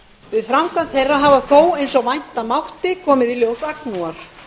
við framkvæmd þeirra hafa þó eins og vænta mátti komið í ljós agnúar